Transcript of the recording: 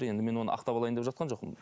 енді мен оны ақтап алайын деп жатқан жоқпын